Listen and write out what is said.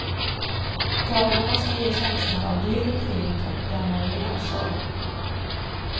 Tavlorna skall ge känslan av dyrt och fint och gammal riddarsal.